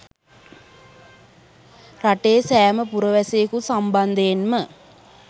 රටේ සෑම පුරවැසියෙකු සම්බන්ධයෙන්ම